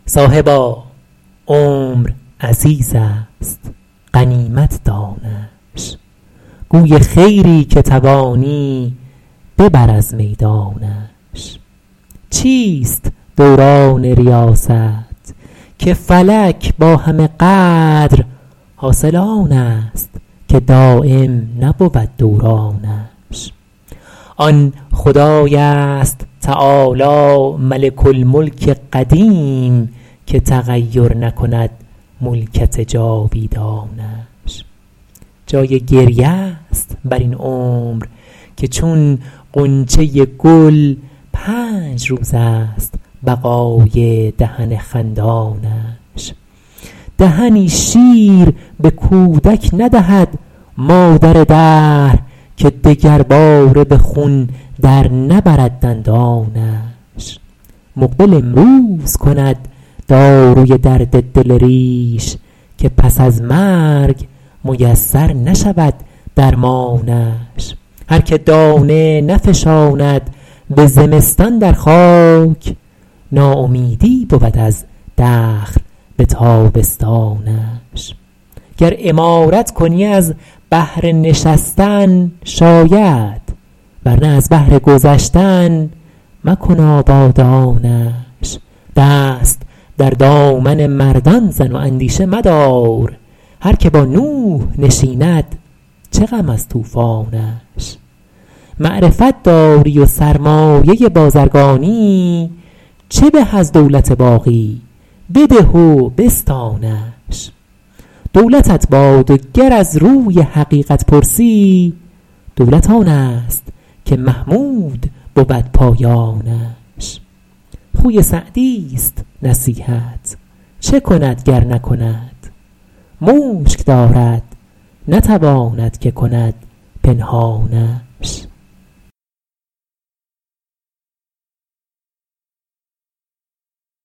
صاحبا عمر عزیز است غنیمت دانش گوی خیری که توانی ببر از میدانش چیست دوران ریاست که فلک با همه قدر حاصل آن است که دایم نبود دورانش آن خدای است تعالی ملک الملک قدیم که تغیر نکند ملکت جاویدانش جای گریه ست بر این عمر که چون غنچه گل پنج روز است بقای دهن خندانش دهنی شیر به کودک ندهد مادر دهر که دگرباره به خون در نبرد دندانش مقبل امروز کند داروی درد دل ریش که پس از مرگ میسر نشود درمانش هر که دانه نفشاند به زمستان در خاک ناامیدی بود از دخل به تابستانش گر عمارت کنی از بهر نشستن شاید ور نه از بهر گذشتن مکن آبادانش دست در دامن مردان زن و اندیشه مدار هر که با نوح نشیند چه غم از طوفانش معرفت داری و سرمایه بازرگانی چه به از دولت باقی بده و بستانش دولتت باد و گر از روی حقیقت پرسی دولت آن است که محمود بود پایانش خوی سعدیست نصیحت چه کند گر نکند مشک دارد نتواند که کند پنهانش